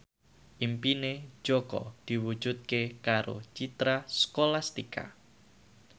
impine Jaka diwujudke karo Citra Scholastika